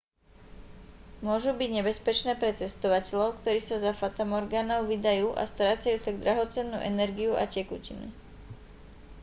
môžu byť nebezpečné pre cestovateľov ktorí sa za fatamorgánou vydajú a strácajú tak drahocennú energiu a tekutiny